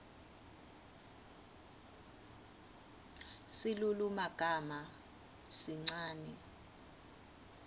silulumagama sincane